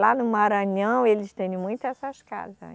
Lá no Maranhão eles têm muito essas casa, né